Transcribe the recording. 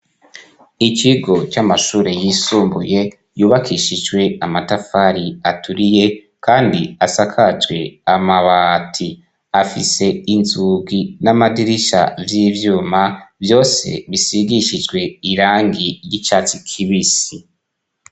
Ikigo c'amashure yisumbuye yubakishijwe amatafari aturiye kandi asakajwe amabati; afise inzugi n'amadirisha vy'ivyuma vyose bisigishijwe irangi ry'icatsi kibisi.